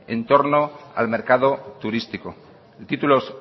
en torno al mercado turístico título